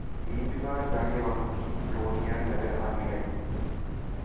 ईदगाह जाने वालों की टोलियाँ नजर आने लगीं